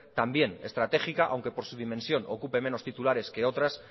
también estratégica aunque por su dimensión ocupe menos titulares que otras